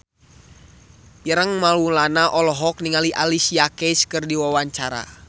Ireng Maulana olohok ningali Alicia Keys keur diwawancara